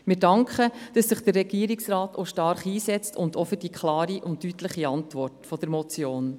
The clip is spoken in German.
Wir danken dafür, dass sich der Regierungsrat stark einsetzt, und wir danken für die klare und deutliche Antwort auf die Motion.